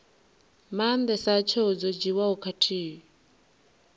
maandesa tsheo dzo dzhiiwaho khathihi